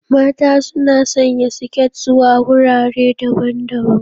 Mata suna sanya siket zuwa wurare daban-daban.